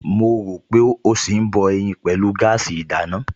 Mo rò pé ó ṣì ń bọ ẹyin pẹ̀lú gáàsì ìdáná